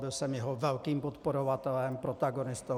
Byl jsem jeho velkým podporovatelem, protagonistou.